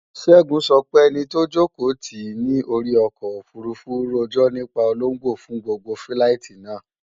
Ṣẹ́gun sọ pé ẹni tó jòkó tìí ní orí ọkọ̀ òfurufú rojọ́ nípa ológbò fún gbogbo fíláìtí náà